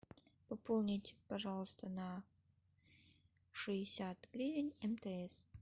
пополнить пожалуйста на шестьдесят гривен мтс